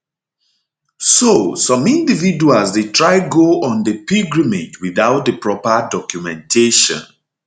so some individuals dey try go on di pilgrimage without di proper documentation